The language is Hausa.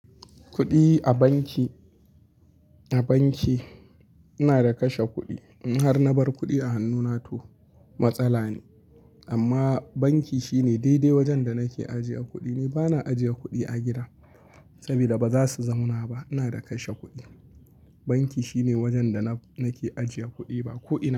Kuɗi a banki, a banki ina da kashe kuɗi. In har na bar kuɗi a hannu na to matsala ne amma banki shine daidai wajen da nake ajiye kuɗi. Ni bana ajiye kuɗi a gida saboda ba za su zauna ba. Ina da kashe kuɗi, banki shine wajen da nake ajiye kuɗi ba ko ina ba.